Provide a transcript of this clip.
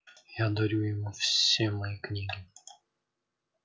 я дарю ему все мои книги